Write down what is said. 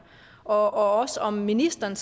og også om ministeren